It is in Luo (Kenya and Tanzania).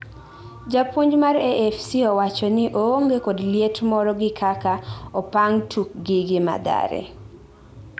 japuonj mar AFC owachoni oonge kod liet moro gi kaka opang tukgi gi Mathare